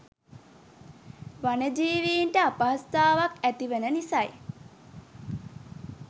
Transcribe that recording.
වනජීවීන්ට අපහසුතාවක් ඇතිවන නිසයි.